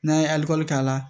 N'an ye alikɔri k'a la